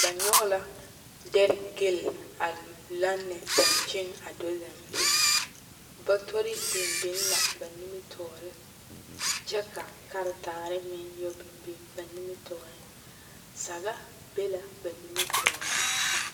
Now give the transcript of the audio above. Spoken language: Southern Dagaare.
ba nyɔge la dɛre geli a lanne dankyini a do zeŋ batori biŋ biŋ la ba nimitɔɔre kyɛ ka kartaare meŋ biŋ ba nimitɔɔre saga be la ba nimitɔɔre meŋ.